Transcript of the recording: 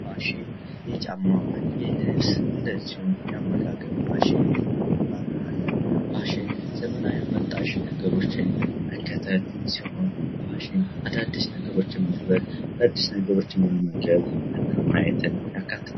ፋሽን የጫማ የልብስ እንደዚሁም የአመጋገብ ፋሽን በመባል አለ ። ፋሽን ዘመን አመጣሽ ነገሮችን መከተል ሲሆን ፋሽን አዳዲስ ነገሮችን መልበስ አዳዲስ ነገሮችን መመገብ እና ማየትን ያካትታል ።